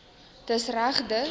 dis reg dis